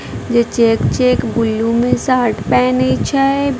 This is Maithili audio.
जे चेक चेक ब्लू में शर्ट पहने छै।